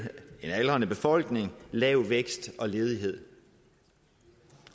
en aldrende befolkning lav vækst og ledighed